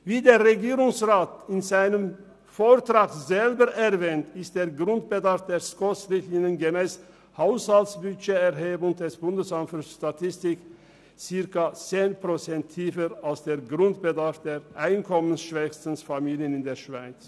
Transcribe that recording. Wie der Regierungsrat in seinem Vortrag selber erwähnt, ist der Grundbedarf gemäss SKOSRichtlinien und Haushaltsbudgeterhebung des BFS rund 10 Prozent tiefer als der Grundbedarf der einkommensschwächsten Familien in der Schweiz.